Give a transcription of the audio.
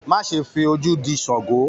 Má ṣe f'ojú dì ṣàngó!